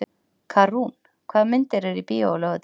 Karún, hvaða myndir eru í bíó á laugardaginn?